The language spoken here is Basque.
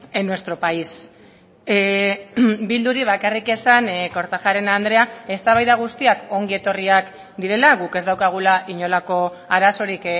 en nuestro país bilduri bakarrik esan kortajarena andrea eztabaida guztiak ongi etorriak direla guk ez daukagula inolako arazorik